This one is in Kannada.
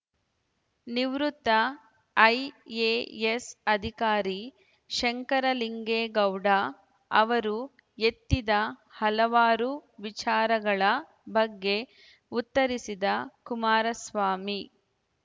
ನಿವೃತ್ತ ಐಎಎಸ್ ಅಧಿಕಾರಿ ಶಂಕರಲಿಂಗೇಗೌಡ ಅವರು ಎತ್ತಿದ ಹಲವಾರು ವಿಚಾರಗಳ ಬಗ್ಗೆ ಉತ್ತರಿಸಿದ ಕುಮಾರಸ್ವಾಮಿ